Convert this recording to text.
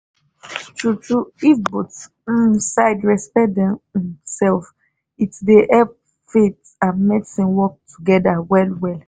true true if both um side respect dem um self it dey help faith and medicine work togeda well well